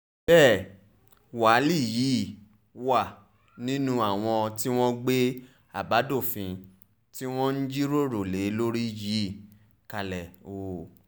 bẹ́ẹ̀ wálí yìí wà nínú àwọn tí wọ́n gbé àbádòfin tí wọ́n ń jíròrò lé lórí yìí kalẹ̀ o